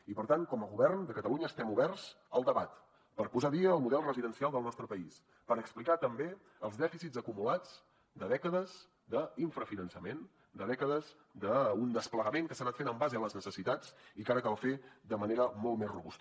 i per tant com a govern de catalunya estem oberts al debat per posar al dia el model residencial del nostre país per explicar també els dèficits acumulats de dècades d’infrafinançament de dècades d’un desplegament que s’ha anat fent en base a les necessitats i que ara cal fer de manera molt més robusta